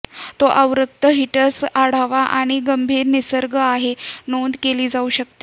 तो अवरक्त हीटर्स आढावा आणि गंभीर निसर्ग आहेत नोंद केली जाऊ शकते